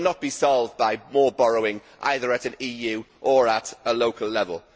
It will not be solved by more borrowing either at an EU or at a local level.